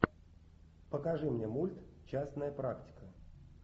покажи мне мульт частная практика